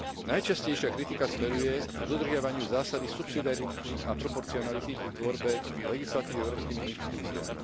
Najčastejšia kritika smeruje k dodržiavaniu zásady subsidiarity a proporcionality pri tvorbe legislatívy európskymi inštitúciami.